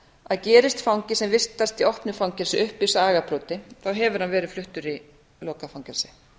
að gerist fangi sem vistast í opnu fangelsi uppvís að agabroti þá hefur hann verið fluttur í lokað fangelsi